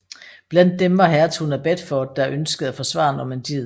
Blandt dem var hertugen af Bedford der ønskede at forsvare Normandiet